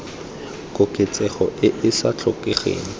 koketsegong e e sa tlhokegeng